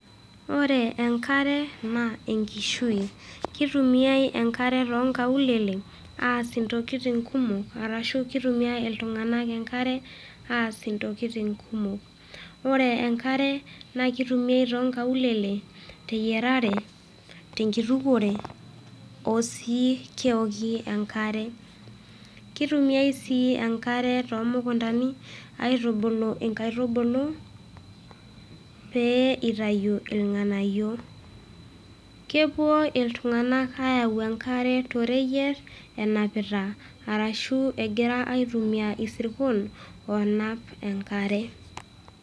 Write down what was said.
Ore enkare naa enkishui. Keitumiai enkare too nkaulele aas intokitin kumok, arashu keutimiai iltung'ana enkare aas intokitin kumok. Kore enkare naa keitumiai too nkaulele te yierare, te enkitukuore, oo sii keoki enkare. Keitumiai sii enkare too mukuntani aitubulu inkaitubulu pee eitayu ilg'anayio. Kepuo iltung'ana aayau enkare too reyiet enapita arashu egira aitumia isirkon oonap enkare.